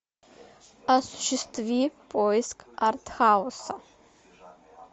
осуществи поиск артхауса